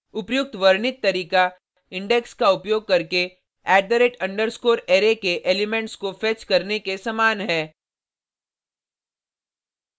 उपर्युक्त वर्णित तरीका इंडेक्स का उपयोग करके @_ array के एलिमेंट्स को फेच करने के समान है